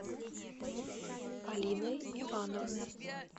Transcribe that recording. полиной ивановной